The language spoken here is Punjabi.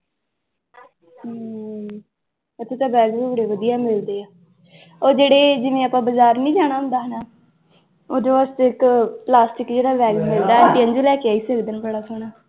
ਹਮ ਇੱਥੇ ਤਾਂ bag ਵੀ ਬੜੇ ਵਧੀਆ ਮਿਲਦੇ ਆ, ਉਹ ਜਿਹੜੇ ਜਿਵੇਂ ਆਪਾਂ ਬਾਜ਼ਾਰ ਨੀ ਜਾਣਾ ਹੁੰਦਾ ਨਾ, ਉਹਦੇ ਵਾਸਤੇ ਇੱਕ ਪਲਾਸਟਿਕ ਜਿਹੇ ਦਾ bag ਮਿਲਦਾ ਤੇਰੀ ਲਈ ਲੈ ਕੇ ਆਈ ਸੀ ਓਦਣ ਬੜਾ ਸੋਹਣਾ